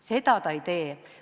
Seda ta ei tee.